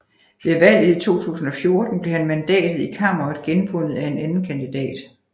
Ved valget i 2014 blev mandatet i Kammeret genvundet af en anden kandidat